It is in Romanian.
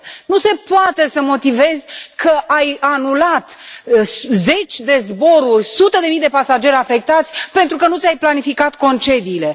Nu se poate să motivezi că ai anulat zeci de zboruri, sute de mii de pasageri afectați pentru că nu ți ai planificat concediile.